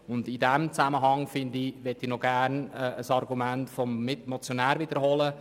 In diesem Zusammenhang möchte ich noch gerne ein Argument des Motionärs wiederholen.